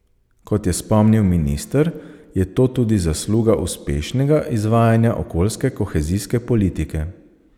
Kot je spomnil minister, je to tudi zasluga uspešnega izvajanja okoljske kohezijske politike.